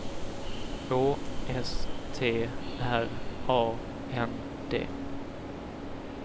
Å S T R A N D